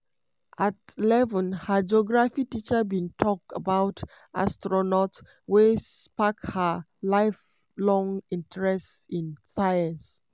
at eleven her geography teacher bin tok about astronauts wey spark her lifelong interest in science.